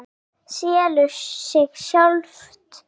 Þetta selur sig sjálft.